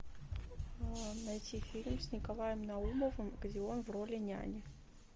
найти фильм с николаем наумовым где он в роли няни